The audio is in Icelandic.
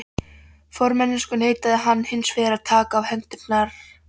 Formennskuna neitaði hann hinsvegar að takast á hendur aftur.